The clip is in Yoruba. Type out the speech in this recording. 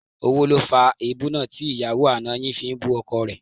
Owó ló fa èébú tí ìyàwó àná yẹn fi ń bú ọkọ rẹ̀